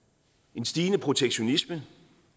en stigende protektionisme